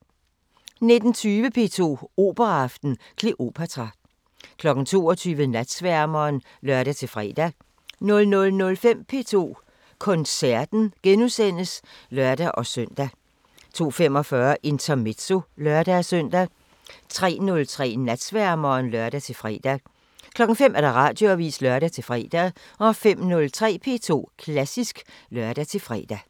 19:20: P2 Operaaften: Kleopatra 22:00: Natsværmeren (lør-fre) 00:05: P2 Koncerten *(lør-søn) 02:45: Intermezzo (lør-søn) 03:03: Natsværmeren (lør-fre) 05:00: Radioavisen (lør-fre) 05:03: P2 Klassisk (lør-fre)